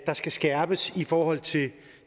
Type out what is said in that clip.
skal skærpes i forhold til